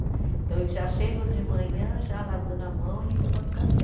Então eles já chegam de manhã já lavando a mão e tomando café.